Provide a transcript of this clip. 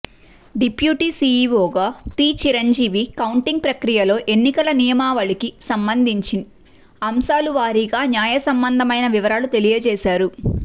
deputy CEO T Chiranjeevi counting ప్రక్రియలో ఎన్నికల నియమావళికి సంబంధించి అంశాల వారీగా న్యాయ సంబంధమైన వివరాలు తెలియజేశారు